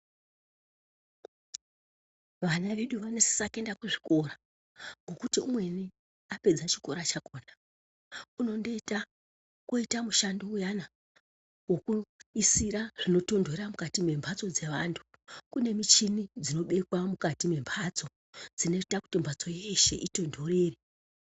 Vana vedu vanosisa kuenda kuzvikora ngokuti umweni apedza chikora chakona unondoita koita mushando uyana wokuisa zvinotondorera mukati mwembatso dzevantu, kune michini dzinobekwa mukati mwembatso dzinoita kuti mbatso yeshe itondorere.